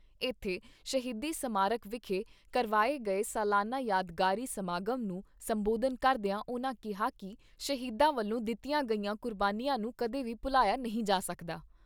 ਇਥੇ ਸ਼ਹੀਦੀ ਸਮਾਰਕ ਵਿਖੇ ਕਰਵਾਏ ਗਏ ਸਲਾਨਾ ਯਾਦਗਾਰੀ ਸਮਾਗਮ ਨੂੰ ਸੰਬੋਧਨ ਕਰਦਿਆ ਉਨ੍ਹਾਂ ਕਿਹਾ ਕਿ ਸ਼ਹੀਦਾਂ ਵੱਲੋਂ ਦਿੱਤੀਆਂ ਗਈਆਂ ਕੁਰਬਾਨੀਆਂ ਨੂੰ ਕਦੇ ਵੀ ਭੁਲਾਇਆ ਨਹੀਂ ਜਾ ਸਕਦਾ।